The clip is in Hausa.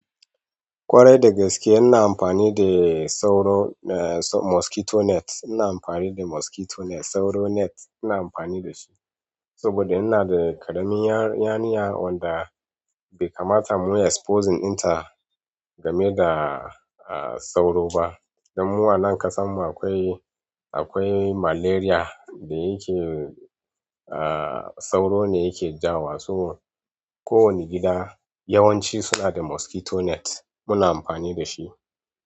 Ƙwarai da gaske ina amfani dey sauro, eh mosquito net. Ina amfani da mosquito net, sauro net ina amfani da shi. Saboda ina da ƙaramin yarinya wadda bai kamata mu exposing ɗin ta game da sauro ba. Dan mu a nan ƙasar mu akwai, akwai malaria da yake ah sauro ne yake ja wa. To kowane gida yawanci suna da mosquito net muna amfani da shi.